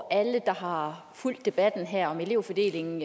at alle der har fulgt debatten her om elevfordelingen